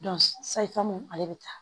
sayifamu ale bɛ taa